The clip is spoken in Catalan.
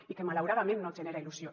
i que malauradament no genera il·lusió